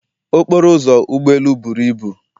okporo ụzọ ụgbọ elu buru ibu